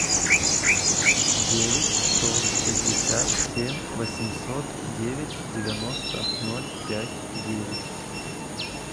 девять сто пятьдесят семь восемьсот девять девяносто ноль пять девять